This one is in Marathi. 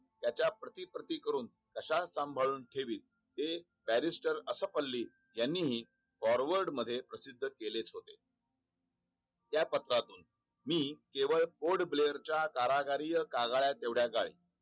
च्या प्रति पूर्ती करून अशा सांभाळ ते बॅरिस्टर असा पल्ली यांनीही फोर वर्ड मध्ये प्रसिद्ध केलेच होते. त्या पत्रातून मी केवळ बोर्ड ब्लेअर च्या हजार या काळात एवढ्या जाईल त्याच्या